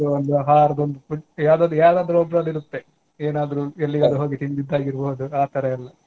ಯಾವದೋ ಒಂದ್ ಆಹಾರದೊಂದು food ಯಾವದಾದ್ರು ಯಾವದಾದ್ರು ಒಬ್ಬರದ್ದು ಇರುತ್ತೆ ಏನಾದ್ರೂ ಎಲ್ಲಿಗಾದ್ರೂ ಹೋಗಿ ತಿಂದಿದ್ದಾಗಿರಬಹುದು ಆತರಾ ಎಲ್ಲಾ.